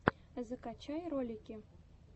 закачай ролики